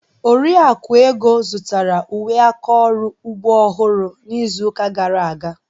Oriakụ Ego zụtara uwe aka ọrụ ugbo ọhụrụ n'izu gara aga.